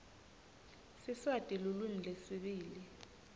siswati lulwimi lwesibili